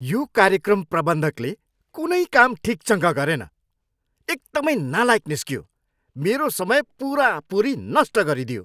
यो कार्यक्रम प्रबन्धकले कुनै काम ठिकसँग गरेन। एकदमै नालायक निस्कियो। मेरो समय पुरापुरी नष्ट गरिदियो।